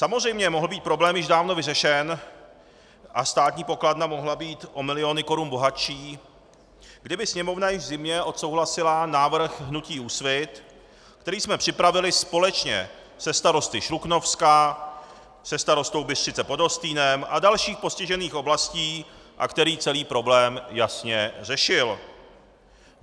Samozřejmě mohl být problém již dávno vyřešen a státní pokladna mohla být o miliony korun bohatší, kdyby Sněmovna již v zimě odsouhlasila návrh hnutí Úsvit, který jsme připravili společně se starosty Šluknovska, se starostou Bystřice pod Hostýnem a dalších postižených oblastí a který celý problém jasně řešil.